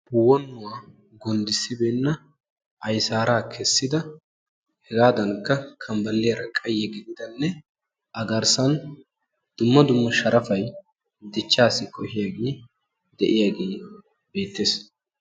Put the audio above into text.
Wonuwa gundissi beenna ayssara kessdida qassikka sharappay de'iyooge beetees.